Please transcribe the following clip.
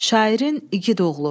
Şairin igid oğlu.